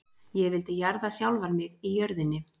Ég vildi jarða sjálfan mig í jörðinni.